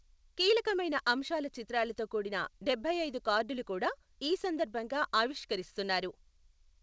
కీలకమైన అంశాల చిత్రాలతో కూడిన డెబ్బై ఐదు కార్డులు కూడా ఈ సందర్భంగా ఆవిష్కకరిస్తున్నారు.